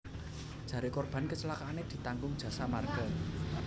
Jare korban kecelakaane ditanggung Jasa Marga